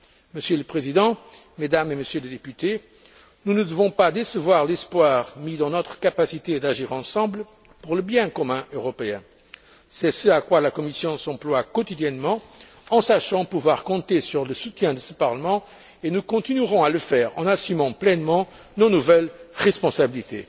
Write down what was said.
Monsieur le Président, Mesdames et Messieurs les députés, nous ne devons pas décevoir l'espoir mis dans notre capacité d'agir ensemble pour le bien commun européen. C'est ce à quoi la Commission s'emploie quotidiennement, en sachant pouvoir compter sur le soutien de ce Parlement, et nous continuerons à le faire en assumant pleinement nos nouvelles responsabilités.